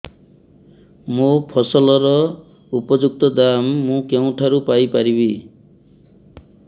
ମୋ ଫସଲର ଉପଯୁକ୍ତ ଦାମ୍ ମୁଁ କେଉଁଠାରୁ ପାଇ ପାରିବି